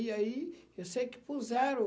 E aí eu sei que puseram.